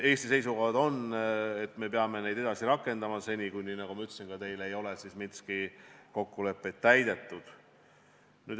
Eesti seisukoht on, et me peame neid edasi rakendama seni, kuni – nagu ma ka teile ütlesin – Minski kokkuleppeid ei ole täidetud.